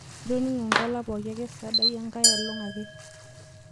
itoning'o nkala pooki ake sadai angaelong' ake